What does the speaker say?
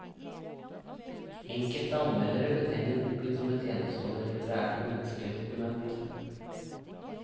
Enkelte anmeldere betegner boken som et enestående litterært og menneskelig dokument.